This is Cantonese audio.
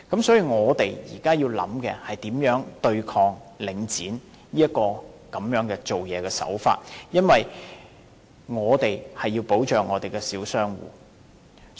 所以，我們現在要考慮的是如何對抗領展這些做法，因為我們要保障小商戶。